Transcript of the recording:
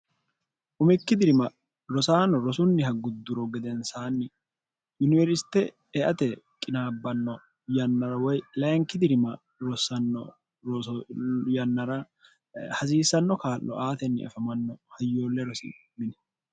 umikki dirima rosaano rosunniha gudduro gedensaanni yuniwersite eate qinaabbanno yannara woy lainki dirima rosanno ro yannara hasiissanno kaallo aatenni afamanno hayyoolle rosi mini